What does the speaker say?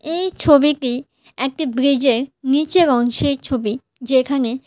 এই ছবিটি একটি ব্রিজ -এর নীচের অংশের ছবি যেখানে--